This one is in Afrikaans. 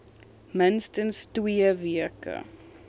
minstens twee weke